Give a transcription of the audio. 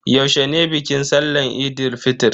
Yaushe ne bikin sallahn Eid fitr?